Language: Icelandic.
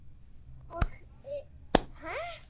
Og er hér komin ein þversögnin um Vigdísi Finnbogadóttur.